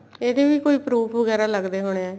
ਇਹਦੇ ਵੀ ਕੋਈ proof ਵਗੈਰਾ ਲੱਗਦੇ ਹੋਣੇ ਏ